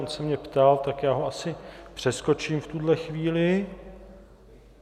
On se mě ptal, tak já ho asi přeskočím v tuhle chvíli.